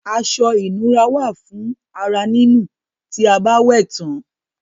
Aṣọ ìnura wà fún ara nínù tí a bá wẹ̀ tán.